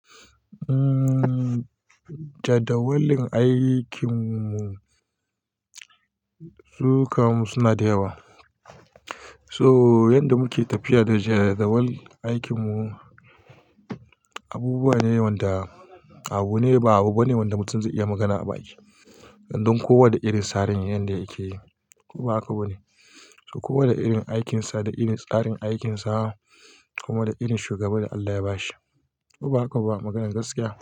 Jadawalin aikin mu, su ka mu suna da yawa. So yanda muke tafiya da jadawalin aikin mu, abubuwa ne wanda abu ne ba abu bane wanda mutum zai iya magana a baki. Don kowa da irin tsarin yanda yake yi, kowa hakinsa ne. Kowa da irin aikinsa, da irin tsarin aikinsa, kuma da irin shugaba da Allah ya bashi. Ko ba haka ba maganar gaskiya.